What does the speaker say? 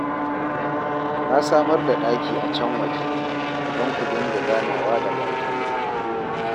Na samar da ɗaki a can waje, don ku dinga ganawa da baƙinku